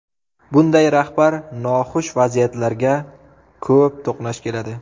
Bunday rahbar noxush vaziyatlarga ko‘p to‘qnash keladi.